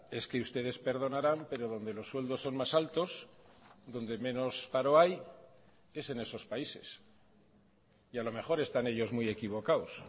es que ustedes perdonarán pero donde los sueldos son más altos donde menos paro hay es en esos países y a lo mejor están ellos muy equivocados